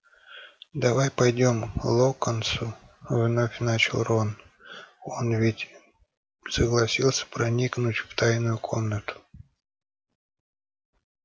давай пойдём к локонсу вновь начал рон он ведь согласился проникнуть в тайную комнату